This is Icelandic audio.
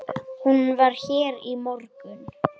Hún var hér í morgun.